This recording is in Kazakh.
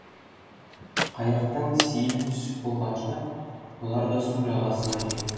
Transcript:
қайықтан сейіл түсіп болғанша бұлар да су жағасына жетті